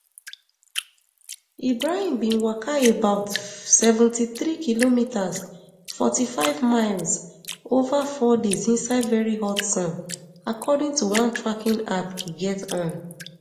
ibrahim bin waka about seventy-three kilometres forty-five miles ova four days inside very hot sun according to one tracking app e get on